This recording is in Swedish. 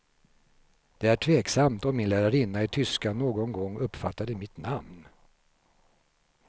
Det är tveksamt om min lärarinna i tyska någon gång uppfattade mitt namn.